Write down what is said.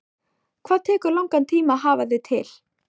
Hvað tekur langan tíma að hafa þig til?